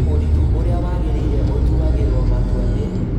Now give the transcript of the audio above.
ũrĩkũ ũrĩa wagĩrĩire ũtuagĩrwo matua nĩ: